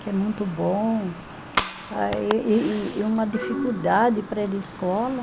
Que é muito bom, ah e e e e uma dificuldade para ir à escola.